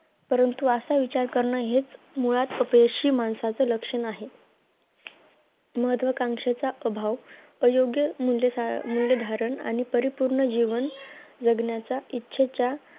परंतु असा विचार करण हे मुळात अपयशी माणसाची लक्षणे आहेत महत्वकांक्षेचा अभाव अयोग्य मूल्य मुल्ये धारण आणि परिपूर्ण जीवन जगण्याचा इच्छेचा